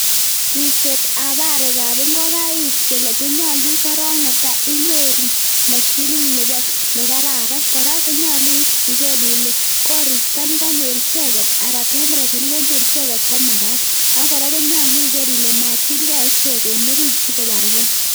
Ribsetab arekab ing'okaik konylu korong netaa inyoru moshinit nekararan kora konyolu iker ilee koristo nekonyor icheket aran temperature nekonyor icheket komakat, ak kora komakat iker ilee machilkee ichek en oriit sikobarkee.